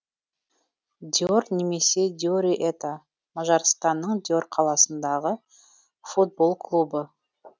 дьор немесе дьори это мажарстанның дьор қаласындағы футбол клубы